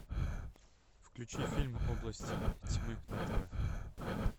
включи фильм область тьмы на тв